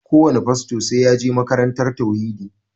Kowane fasto sai ya je makarantar tauhidi